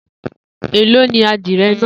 Elo ni adie naa?